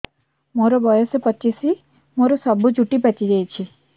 ମୋର ବୟସ ପଚିଶି ମୋର ସବୁ ଚୁଟି ପାଚି ଯାଇଛି